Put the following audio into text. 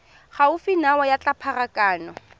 gaufi nao ya tsa pharakano